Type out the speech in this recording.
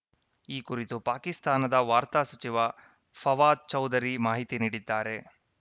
ಈ ಕುರಿತು ಪಾಕಿಸ್ತಾನದ ವಾರ್ತಾ ಸಚಿವ ಫವಾದ್‌ ಚೌಧರಿ ಮಾಹಿತಿ ನೀಡಿದ್ದಾರೆ